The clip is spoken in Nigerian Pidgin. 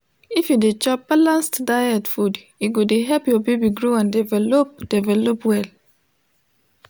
if you de chop balanced diet food e go de help ur baby grow and develop develop well